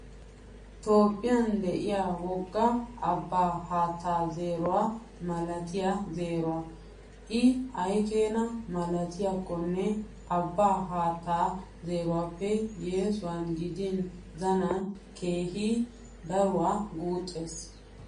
Toophphiyan diyaa wogga abbaa haattaa zeeruwaa malatiyaa zeeruwaa. I ayikeena malatikkonne abbaa haattaa zeeruwaappe yesuwan gidin zanan keehi daruwaa guuxxes.